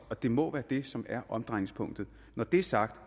det må være det som er omdrejningspunktet når det er sagt